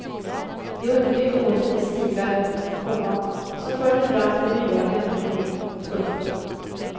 De undvek åter de stigar, komma som förde fram till byar och människor. punkt